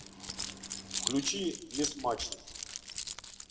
включи несмачный